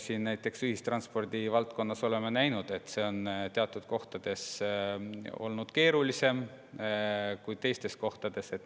Näiteks ühistranspordi valdkonnas me oleme näinud, et teatud kohtades on olukord keerulisem kui teistes kohtades.